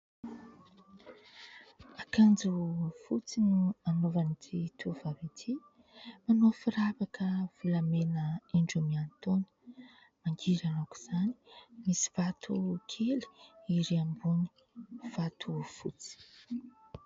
Akanjo fotsy no anaovan'ity tovovavy ity, manao firavaka volamena indroa miantoana, mangirana aok'izany, misy vato kely erỳ ambony, vato fotsy.